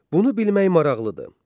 Bunu bilmək maraqlıdır.